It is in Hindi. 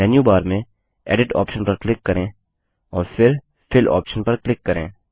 मेन्यू बार में एडिट ऑप्शन पर क्लिक करें और फिर फिल ऑप्शन पर क्लिक करें